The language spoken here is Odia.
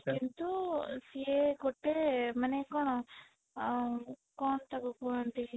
କିନ୍ତୁ ସିଏ ଗୋଟେ ମାନେ କଣ ଅଁ କଣ ତାକୁ କହନ୍ତି